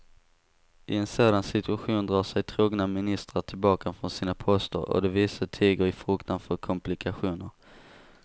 I en sådan situation drar sig trogna ministrar tillbaka från sina poster och de vise tiger i fruktan för komplikationer.